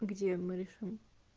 где мы решим